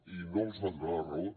i no els va donar la raó